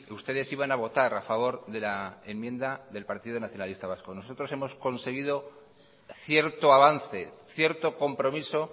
ustedes iban a votar a favor de la enmienda del partido nacionalista vasco nosotros hemos conseguido cierto avance cierto compromiso